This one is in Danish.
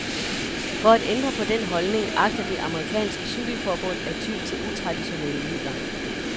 For at ændre på den holdning agter det amerikanske cykelforbund at ty til utraditionelle midler.